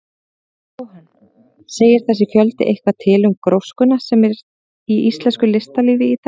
Jóhann: Segir þessi fjöldi eitthvað til um gróskuna sem er í íslensku listalífi í dag?